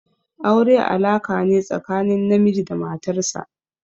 Aure alaka ne tsakanin namiji da matar sa.